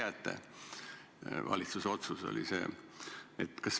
See oli valitsuse otsus.